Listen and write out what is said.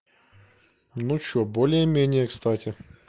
ну что более-менее кстати